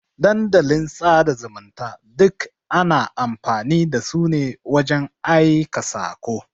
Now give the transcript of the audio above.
Dandalin sada zumunta duk ana amfani dasu ne wajan aika sako.